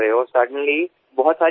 એકાએક ઘણો વ્યાયામ ઉમેરાય છે